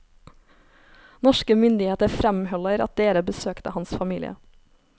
Norske myndigheter fremholder at dere besøkte hans familie.